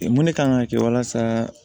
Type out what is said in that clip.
Mun de kan ka kɛ walasa